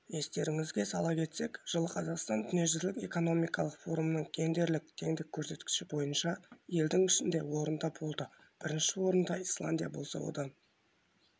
естеріңізге сала кетсек жылы қазақстан дүниежүзілік экономикалық форумның гендерлік теңдік көрсеткіші бойынша елдің ішінде орында болды бірінші орында исландия болса одан